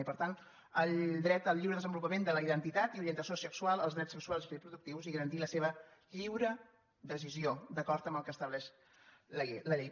i per tant el dret al lliure desenvolupament de la identitat i orienta·ció sexual als drets sexuals i reproductius i a garantir la seva lliure decisió d’acord amb el que estableix la llei